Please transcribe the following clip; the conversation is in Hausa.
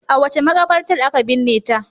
A wace makabartar aka binne ta?